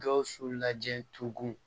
Gawusu lajɛ tugun